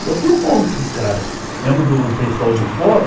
Então tem um monte de cara, mesmo do pessoal do fórum,